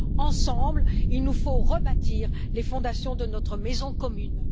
Ensemble, il nous faut rebâtir les fondations de notre maison commune.